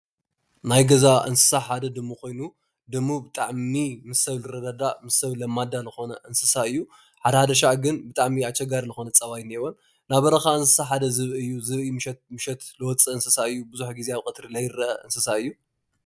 ናይ ገዛ እንስሳ ሓደ ድሙ ኮይኑ ድሙ ብጣዕሚ ምስ ሰብ ዝረዳዳእ ምስ ሰብ ለማዳ ዝኮነ እንስሳ እዪ። ሓደ ሓደ ሻዕ ግን ብጣዕሚ አቸጋሪ ልኮነ ፀባይ አለዎ ናይ በረኻ እንስሳ ሓደ ዝብኢ እዪ። ምሸት ልወፅእ እንስሳ እዪ ብዙሕ ግዜ ቀትሪ ለይረአ እንስሳ እዪ ።